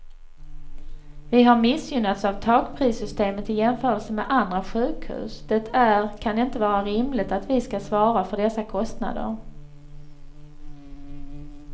Vi har missgynnats av takprissystemet i jämförelse med andra sjukhus det är kan inte vara rimligt att vi skall svara för dessa kostnader.